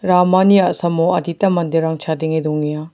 ramani a·samo adita manderang chadenge dongenga.